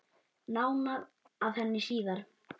Nánar að henni síðar.